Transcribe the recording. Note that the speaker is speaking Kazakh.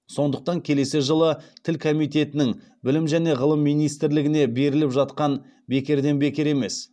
сондықтан келесі жылы тіл комитетінің білім және ғылым министрлігіне беріліп жатқан бекерден бекер емес